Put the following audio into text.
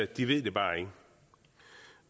de ved det bare ikke